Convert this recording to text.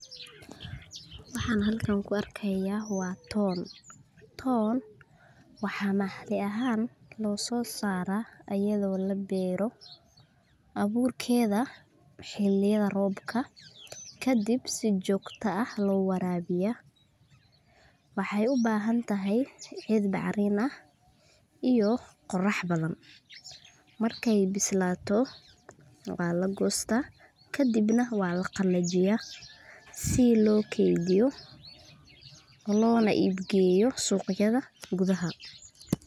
Waxaan halkan ku argayah wa toon toon wax mahdi ahan lososarah ayado labairo aburkada xiliyada roobka ka dhib si jogto ah lo warawiya waxay ubahantahay cid bac riman ah iyo qorah baadan markay bislatoh wa lagostah ka dhib wa la qalajiyah sii logadiyo lona ibgaliyo suqyada ku daha.